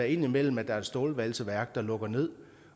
indimellem er et stålvalseværk der lukker ned